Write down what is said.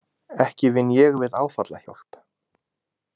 Ekki vinn ég við áfallahjálp.